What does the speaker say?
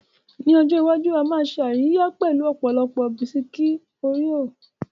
Ní ọjọ́ iwájú, a máa ṣe àríyá pẹ̀lú ọ̀pọ̀lọpọ̀ bisikí óríò.